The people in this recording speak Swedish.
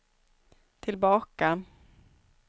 tillbaka